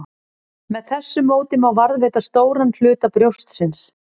Með þessu móti má varðveita stóran hluta brjóstsins.